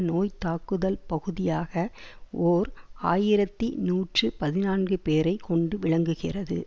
நோய் தாக்குதல் பகுதியாக ஓர் ஆயிரத்தி நூற்றி பதினான்கு பேரை கொண்டு விளங்குகிறது